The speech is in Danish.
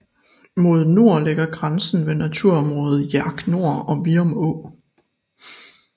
Mod nord ligger grænsen ved naturområdet Hjerk nord og Vium å